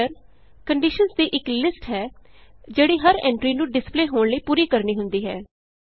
filter conditions ਦੀ ਇਕ list ਹੈ ਜਿਹੜੀ ਹਰ ਐਂਟਰੀ ਨੂੰ ਡਿਸਪਲੇ ਹੋਣ ਲਈ ਪੂਰੀ ਕਰਨੀ ਹੁੰਦੀ ਹੈ